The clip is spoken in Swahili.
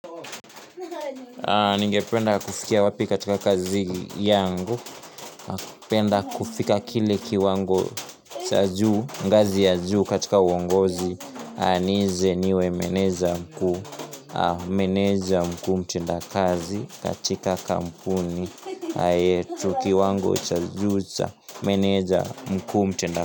Ni ngependa kusikia wapi katika kazi yangu. Penda kufika kili kiwango cha juu. Ngazi ya juu katika wongozi. Anizi niwe meneja mkuu. Meneja mkuu mtenda kazi katika kampuni. Ayetu kiwango cha juu cha. Meneja mkuu mtenda.